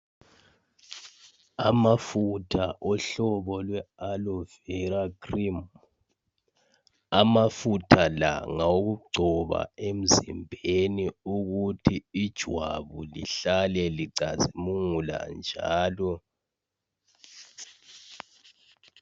Amafutha ohlobo lwe-alovera krimu. Amafutha la ngawo kugcoba emzimbeni ukuthi ijwabu lihlale licazimula njalo.